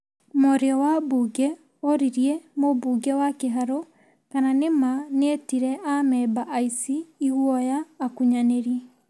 Mwaria wa mbunge oririe mũmbunge wa kĩharũ kana nĩ ma nĩ etire amemba aici, iguoya, akunyanĩri.